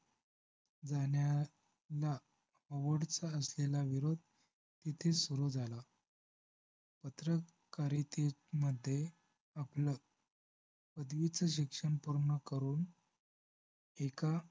जाण्याला ओडचा असलेला विरोध तेथे सुरु झाला पत्रकारितेमध्ये आपलं पदवीच शिक्षण पूर्ण करून एका